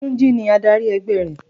Túnjí ni adarí e̩gbé̩ rè̩